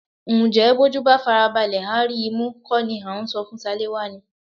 Ǹjẹ́ bójú bá farabalẹ̀ á rí imú kó ni à ń sọ fún Ṣaléwá ni?